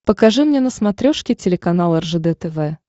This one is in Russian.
покажи мне на смотрешке телеканал ржд тв